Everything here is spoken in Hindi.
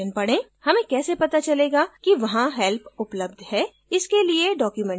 हमें कैसे पता चलेगा कि वहाँ help उपलब्ध है इसके लिए documentation पढें